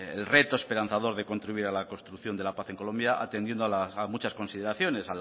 el reto esperanzador de contribuir a la construcción de la paz en colombia atendiendo a muchas consideraciones